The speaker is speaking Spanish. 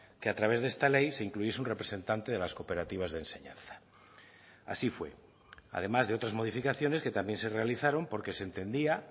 que a través de esta ley se incluyese un representante de las cooperativas de enseñanza así fue además de otras modificaciones que también se realizaron porque se entendía